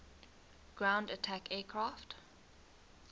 ground attack aircraft